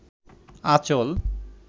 আঁচল